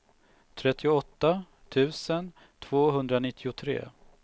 trettioåtta tusen tvåhundranittiotre